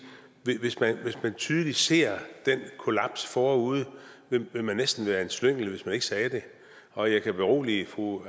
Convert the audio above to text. at hvis man tydeligt ser den kollaps forude ville man næsten være en slyngel hvis man ikke sagde det og jeg kan berolige fru